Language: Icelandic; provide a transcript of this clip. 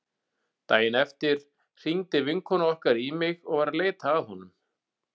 Daginn eftir hringdi vinkona okkar í mig og var að leita að honum.